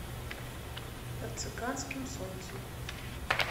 под цыганским солнцем